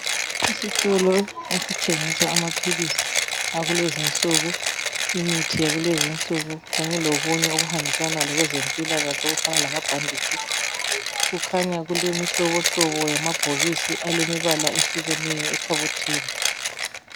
Isitolo esithengisa amaphilisi akulezinsuku, imithi yakulezinsuku kanye lokunye okuhambisana lezempilakahle okufana lamabhanditshi. Kukhanya kulemihlobohlobo yamabhokisi alemibala ehlukeneyo ekhabothini.